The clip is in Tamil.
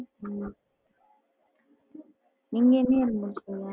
ஹம் நீங்க எந்த year முடுச்சிங்க?